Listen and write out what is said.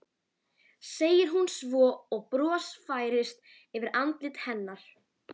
segir hún svo og bros færist yfir andlit hennar.